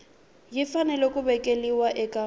yi fanele ku vekiwa eka